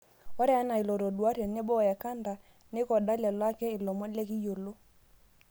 Ore enaa ilotodua, tenebo oekanda naiekoda lelo ake ilomon lekiyiolo